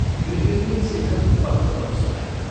गृहिणीले शेखरको पत्र पढी सुनाइन्।